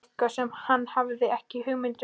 Eitthvað sem hann hafði ekki hugmynd um sjálfur.